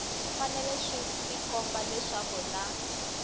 fanele swi tikomba leswaku na